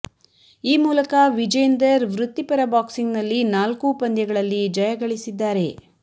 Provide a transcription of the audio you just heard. ಈ ಮೂಲಕ ವಿಜೇಂದರ್ ವೃತ್ತಿಪರ ಬಾಕ್ಸಿಂಗ್ ನಲ್ಲಿ ನಾಲ್ಕೂ ಪಂದ್ಯಗಳಲ್ಲಿ ಜಯಗಳಿಸಿದ್ದಾರೆ